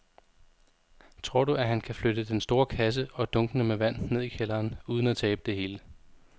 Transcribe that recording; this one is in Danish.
Tror du, at han kan flytte den store kasse og dunkene med vand ned i kælderen uden at tabe det hele?